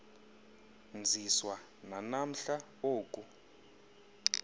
nziswa nanamhla oku